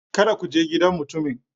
Kada ku je gidan mutumin!